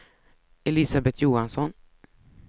Elisabeth Johansson